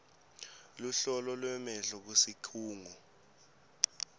luhlolo lwemehlo kusikhungo